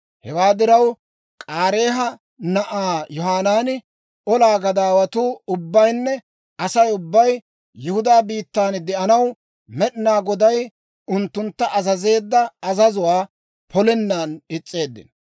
Hewaa diraw, K'aareeha na'ay Yohanaani, olaa gadaawatuu ubbaynne Asay ubbay Yihudaa biittan de'anaw, Med'inaa Goday unttuntta azazeedda azazuwaa polennan is's'eeddino.